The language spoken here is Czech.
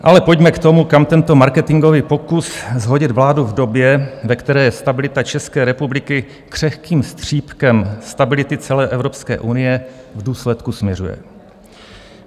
Ale pojďme k tomu, kam tento marketingový pokus shodit vládu v době, ve které je stabilita České republiky křehkým střípkem stability celé Evropské unie, v důsledku směřuje.